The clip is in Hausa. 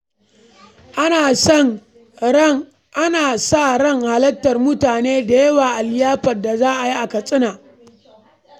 Ana sa ran halartar mutane da yawa a liyafar da za a yi a Katsina.